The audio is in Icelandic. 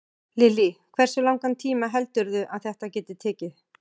Lillý: Hversu langan tíma heldurðu að þetta geti tekið?